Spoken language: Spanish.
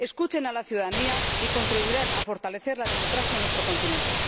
Escuchen a la ciudadanía y contribuirán a fortalecer la democracia en nuestro continente.